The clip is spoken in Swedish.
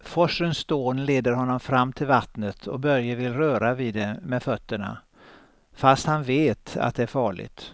Forsens dån leder honom fram till vattnet och Börje vill röra vid det med fötterna, fast han vet att det är farligt.